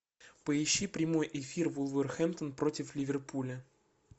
поищи прямой эфир вулверхэмптон против ливерпуля